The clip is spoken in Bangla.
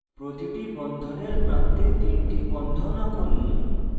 প্রতিটি বন্ধনের প্রান্তে তিনটি bond আঁকুন